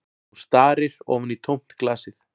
Hún starir ofan í tómt glasið